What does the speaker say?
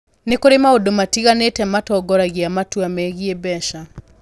Nĩ kũrĩ maũndũ matiganĩte matongoragia matua megiĩ mbeca.